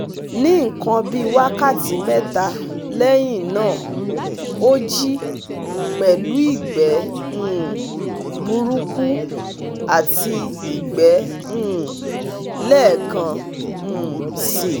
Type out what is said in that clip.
Ní nkan bíi wákàtí mẹ́ta lẹ́yìn náà ó jí pẹ̀lú ìgbẹ́ um burúkú àti ìgbẹ́ um lẹ́ẹ̀kan um si